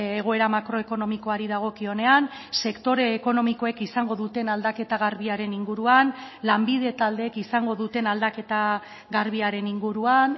egoera makroekonomikoari dagokionean sektore ekonomikoek izango duten aldaketa garbiaren inguruan lanbide taldeek izango duten aldaketa garbiaren inguruan